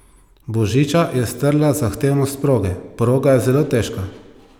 Božiča je strla zahtevnost proge: "Proga je zelo težka.